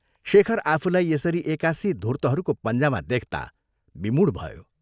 शेखर आफूलाई यसरी एकासि धूर्त्तहरूको पञ्जामा देख्ता विमूढ भयो।